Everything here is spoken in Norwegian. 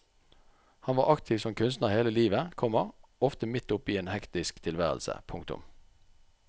Han var aktiv som kunstner hele livet, komma ofte midt oppe i en hektisk tilværelse. punktum